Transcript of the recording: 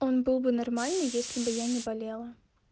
он был бы нормальный если бы я не болела